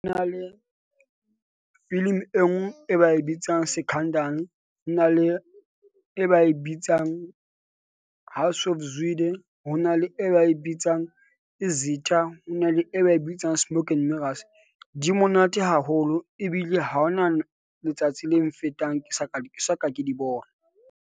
Na le film e e ba e bitsang Scandal, ho na le e ba e bitsang House of Zwide, ho na le e ba e bitsang Izitha. Ho na le e ba e bitsang Smoke 'n Mirrors. Di monate haholo ebile ha hona letsatsi le nfetang ke sa ka se soka ke di bona.